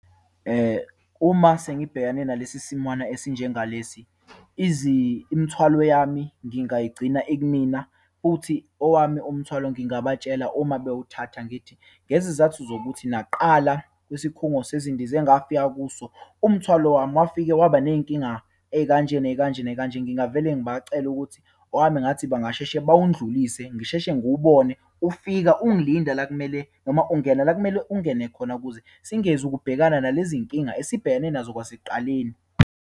Uma sengibhekane nalesi simwana esinjengalesi imithwalo yami ngingayigcina ikumina, futhi owami umthwalo, ngingabatshela uma bewuthatha ngithi ngezizathu zokuthi, nakuqala kwisikhungo sezindiza engafika kuso, umthwalo wami wafike waba neyinkinga eyikanje, neyikanje, neyikanje. Ngingavele ngibacele ukuthi owami ngathi bangasheshe bawundlise, ngisheshe ngiwubone ufika ungilinda la kumele noma ungena la kumele ungene khona, kuze singezu ukubhekana nalezinkinga esibhekene nazo kwasekuqaleni.